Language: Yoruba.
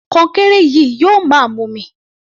Kọnkéré yìí yóò máa mumi.